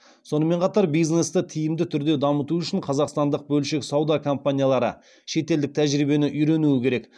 сонымен қатар бизнесті тиімді түрде дамыту үшін қазақстандық бөлшек сауда компаниялары шетелдік тәжірибені үйренуі керек